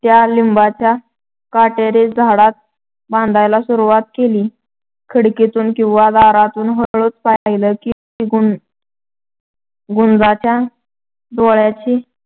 त्या लिंबाच्या काटेरी झाडात बांधायला सुरवात केली. खिडकीतून किंवा दारातून हळूच पाहिलं की गुंजांच्या डोळ्यांची,